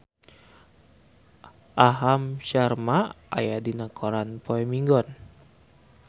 Aham Sharma aya dina koran poe Minggon